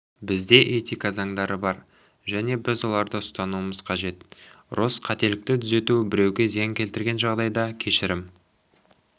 бізде этика заңдары бар және біз оларды ұстануымыз қажет росс қателікті түзету біреуге зиян келтірген жағдайда кешірім